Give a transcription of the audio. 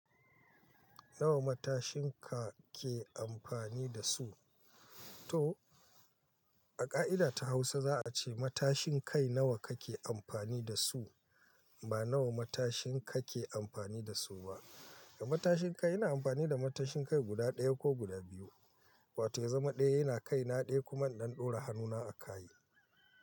Nawa matashin ka ke amfani da su? To a ƙa'ida ta Hausa za a ce matashin kai nawa kake amfani da su, ba nawa matashin kake amfani da su ba. Da matashin kai ina amfani da matashin kai guda ɗaya ko guda biyu, wato ya zama ɗaya yana kai na ɗaya kuma don ɗora hannuna a kayi.